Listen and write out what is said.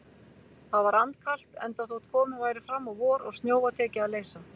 Það var andkalt, enda þótt komið væri fram á vor og snjóa tekið að leysa.